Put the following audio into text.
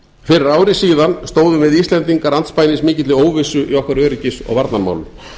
fyrir ári síðan stóðum við íslendingar andspænis mikilli óvissu í okkar öryggis og varnarmálum